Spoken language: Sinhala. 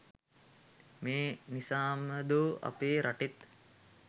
මේ නිසාමදෝ අපේ රටේත්